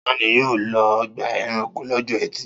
Ta ni yóò lọ ọgbà-ẹranko lọ́jọ́ ẹtì?